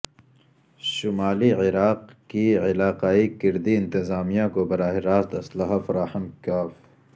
شمالی عراق کی علاقائی کردی انتظامیہ کو براہ راست اسلحہ فراہم ک